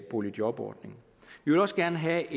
boligjobordningen vi vil også gerne have